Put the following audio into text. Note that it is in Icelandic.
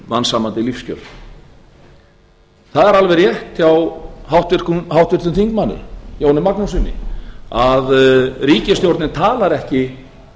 mannsæmandi lífskjör það er alveg rétt hjá háttvirtum þingmanni jóni magnússyni að ríkisstjórnin talar ekki